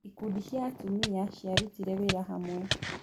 Ikundi cia atumia ciarutire wĩra hamwe.